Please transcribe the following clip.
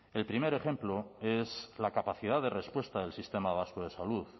el primer ejemplo es la capacidad de respuesta del sistema vasco de salud